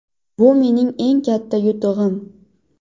Bu mening eng katta yutug‘im.